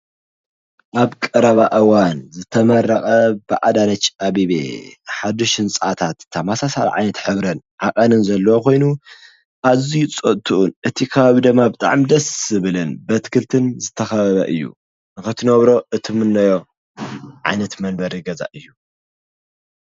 ኣብ ቀራባ ኣዋን ዘተመረቐ ብዕዳነጭ ኣብቤ ሓድ ሽንጽዓታት ተማሣሳል ዓይነት ኅብረን ሓቐንን ዘለዋ ኾይኑ ኣዙይ ጾቱኡን እቲ ኻባብደማ ብ ጥዕምደስ ስብልን በትክልትን ዝተኸበበ እዩ ኽትነብሮ እትምነዮ ዓነት መንበር ይገዛ እዩ::